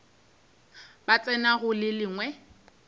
ba tsena go le lengwe